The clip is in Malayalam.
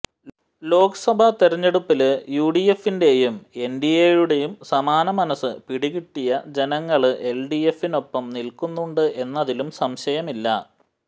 ലോക്സഭാ തെരഞ്ഞെടുപ്പില് യുഡിഎഫിന്റെയും എന്ഡിഎയുടേയും സമാന മനസ് പിടികിട്ടിയ ജനങ്ങള് എല്ഡിഎഫിനൊപ്പം നില്ക്കുന്നുണ്ട് എന്നതിലും സംശയമില്ല